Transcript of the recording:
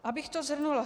Abych to shrnula.